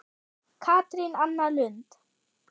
Katrín Anna Lund.